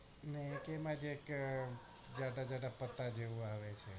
ને કે એમાં છે ને ઘટઘટ જેવું આવે છે